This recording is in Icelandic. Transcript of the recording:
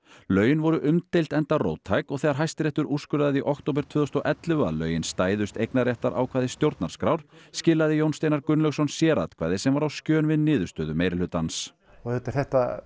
lögin voru umdeild enda róttæk og þegar Hæstiréttur úrskurðaði í október tvö þúsund og ellefu að lögin stæðust eignarréttarákvæði stjórnarskrár skilaði Jón Steinar Gunnlaugsson sératkvæði sem var á skjön við niðurstöðu meirihlutans og auðvitað er þetta